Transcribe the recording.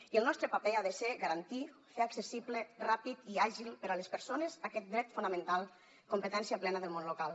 i el nostre paper ha de ser garantir fer accessible ràpid i àgil per a les persones aquest dret fonamental competència plena del món local